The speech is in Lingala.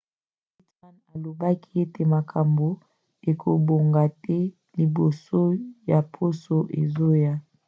pittman alobaki ete makambo ekobonga te liboso ya poso ezoya